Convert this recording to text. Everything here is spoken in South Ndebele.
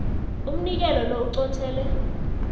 umnikelo lo uqothele